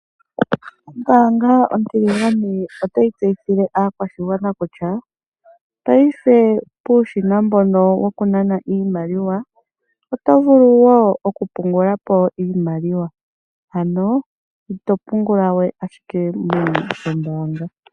Ombaanga ontiligane otayi tseyithile aakwashigwana kutya paife puushina mbono wokunana iimaliwa oto vulu woo okupungula po iimaliwa, ano ito pungula we ashike meni lyombaanga.